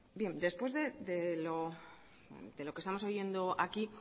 bien después de lo que estamos oyendo aquí